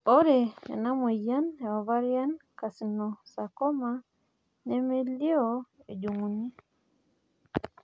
ore ena moyian e ovarian carcinosarcoma nemelioo ejunguni